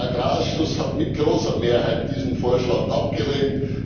Der Agrarausschuss hat mit großer Mehrheit diesen Vorschlag abgelehnt.